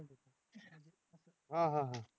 हां हां हां